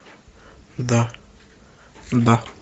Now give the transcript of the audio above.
да да